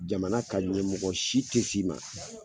Jamana ka ɲɛmɔgɔ si te s'i ma